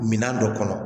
Minan dɔ kɔnɔ